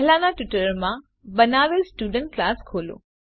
પહેલાનાં ટ્યુટોરીયલમાં બનાવેલ સ્ટુડન્ટ ક્લાસ ખોલો